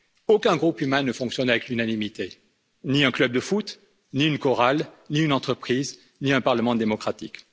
Aucun groupe humain ne fonctionne avec l'unanimité ni un club de foot, ni une chorale, ni une entreprise, ni un parlement démocratique.